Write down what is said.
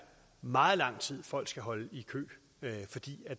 meget lang tid folk skal holde i kø fordi